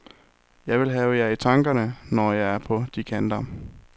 Jeg vil have jer i tankerne, når jeg er på de kanter.